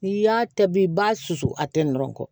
N'i y'a ta bi i b'a susu a tɛntɛnnen kɔ